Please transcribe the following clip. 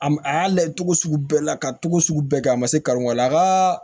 A ma a y'a layɛ cogo sugu bɛɛ la ka togo sugu bɛɛ kɛ a ma se karon ka la a ka